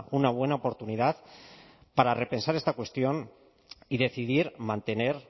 una buena oportunidad para repensar esta cuestión y decidir mantener